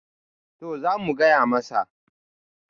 to za mu gaya masa